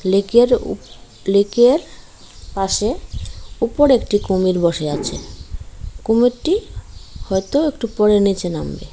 লেকের উপ লেকের পাশে উপরে একটি কুমির বসে আছে কুমিরটি হয়তো একটু পরে নিচে নামবে।